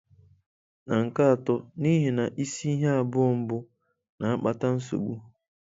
Na nke atọ, n'ihi na isi ihe abụọ mbụ na-akpata nsogbu.